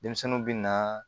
Denmisɛnninw bɛ na